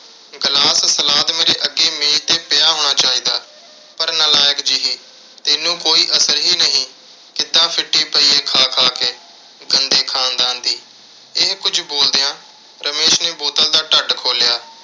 glass, salad ਮੇਰੇ ਅੱਗੇ ਮੇਜ਼ 'ਤੇ ਪਿਆ ਹੋਣਾ ਚਾਹੀਦਾ। ਪਰ ਨਾਲਾਇਕ ਜਿਹੀ ਤੈਨੂੰ ਕੋਈ ਅਸਰ ਹੀ ਨਹੀਂ। ਕਿੱਦਾਂ ਪਈ ਏ ਖਾ ਖਾ ਕੇ, ਗੰਦੇ ਖਾਨਦਾਨ ਦੀ। ਇਹ ਕੁਝ ਬੋਲਦਿਆਂ ਰਮੇਸ਼ ਨੇ ਬੋਤਲ ਦਾ ਢੱਟ ਖੋਲ੍ਹਿਆ